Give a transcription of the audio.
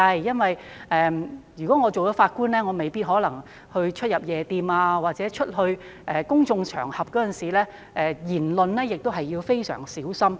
因為如果出任法官，便未必可以出入夜店，在公眾場合發表言論時亦要非常小心。